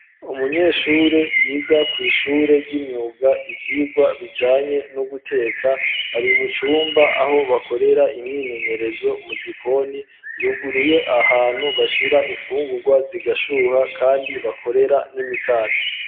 Umunyeshure yiga kw'ishure ry'imyuga ivyigwa bijanye no guteka ari mu cumba aho bakorera imyimenyerezo mu gikoni yuguruye ahantu bashira imfungurwa zigashuha kandi bakorera n'imikate.